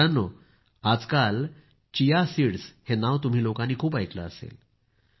मित्रांनो आजकाल chia seeds हे नाव तुम्ही लोकांनी खूप ऐकलं असेल